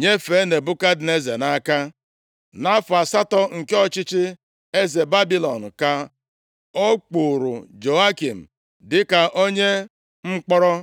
nyefee Nebukadneza nʼaka. Nʼafọ asatọ nke ọchịchị eze Babilọn ka ọ kpụụrụ Jehoiakin dịka onye mkpọrọ.